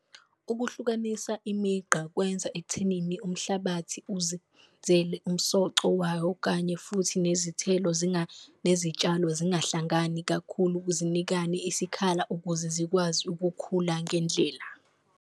Ukuhlukanisa imigqa kwenza ekuthenini umhlabathi uzenzele umsoco wayo, kanye futhi nezithelo nezitshalo zingahlangani kakhulu zinikane isikhala ukuze zikwazi ukukhula ngendlela.